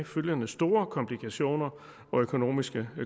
følgende store komplikationer og økonomiske